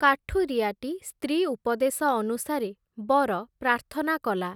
କାଠୁରିଆଟି ସ୍ତ୍ରୀ ଉପଦେଶ ଅନୁସାରେ, ‘ବର’ ପ୍ରାର୍ଥନା କଲା ।